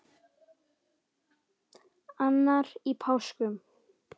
annar í páskum